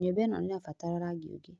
Nyũmba ĩno nĩirabatara rangi ũngĩ